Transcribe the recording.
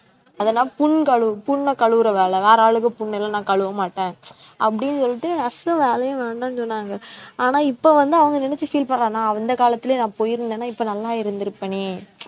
அதெல்லாம் புண் கழு~ புண்ண கழுவுற வேலை, வேற ஆளுக புண்ணலாம் நான் கழுவ மாட்டேன் அப்படின்னு சொல்லிட்டு nurse வேலையும் வேண்டாம்னு சொன்னாங்க, ஆனா இப்ப வந்து அவங்க நினைச்சு feel பண்றாங்க, நான் அந்த காலத்திலேயே நான் போயிருந்தேன்னா இப்ப நல்லா இருந்திருப்பனே